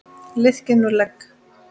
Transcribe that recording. Liðkið nú legg!